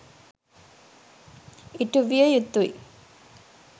ඉටුවිය යුතුයි.